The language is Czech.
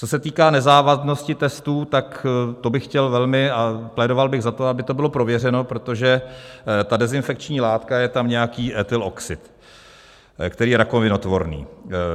Co se týká nezávadnosti testů, tak to bych chtěl velmi - a plédoval bych za to, aby to bylo prověřeno, protože ta dezinfekční látka je tam nějaký ethylenoxid, který je rakovinotvorný.